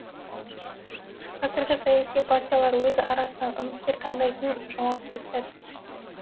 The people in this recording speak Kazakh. қазір саяси партиялар өз арасынан үміткер таңдайтын жауапты сәт